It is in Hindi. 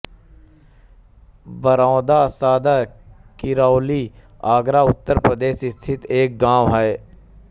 बरौदा सदर किरौली आगरा उत्तर प्रदेश स्थित एक गाँव है